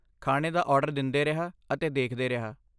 ਖਾਣੇ ਦਾ ਆਰਡਰ ਦਿੰਦੇ ਰਿਹਾ ਅਤੇ ਦੇਖਦੇ ਰਿਹਾ।